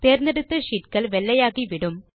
தேர்ந்தெடுத்த sheetகள் வெள்ளையாகிவிடும்